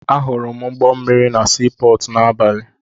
Ahụrụ m ụgbọ mmịrị na sii pọọtụ n'abalị.